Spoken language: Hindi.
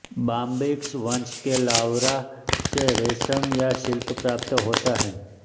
बाम्बिक्स वंश के लारवा से रेशम या सिल्क प्राप्त होता है